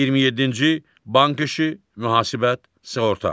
27-ci bank işi, mühasibat, sığorta.